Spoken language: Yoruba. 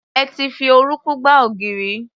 Ẹ ti fi orúnkún gbá ògiri.